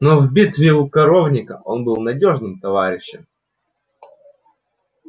но в битве у коровника он был надёжным товарищем